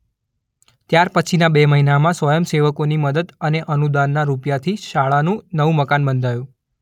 ત્યાર પછીના બે મહિનામાં સ્વયંસેવકોની મદદ અને અનુદાનના રૂપિયા થી શાળાનુ નવુ મકાન બંધાયુ.